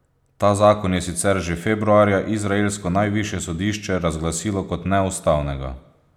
Ta zakon je sicer že februarja izraelsko najvišje sodišče razglasilo kot neustavnega.